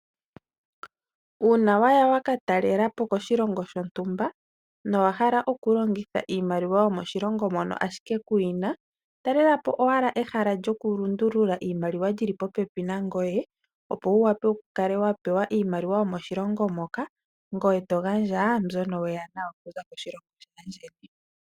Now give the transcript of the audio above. Uuna waya wakatelelapo koshilongo shontumba, nowahala okulongitha iimaliwa yomoshilongo moka wuli ashike kuyina, talelapo owala ehala lyokulundulula iimaliwa lyili popepi nangoye opo wuwape okukala wapewa iimaliwa yomoshilongo moka, ngoye togandja mbyoka weya nayo okuza koshilongo shayeni.